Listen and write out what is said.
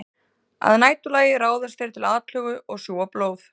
Að næturlagi ráðast þeir til atlögu og sjúga blóð.